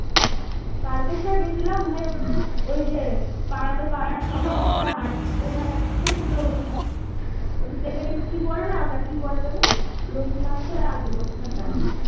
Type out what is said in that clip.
তারোকেশর গেছিলাম ভাই ওদের ওই যে পাড়ার সবার সাথে হাটতে হাটতে কি বলে না লোকনাথের আগে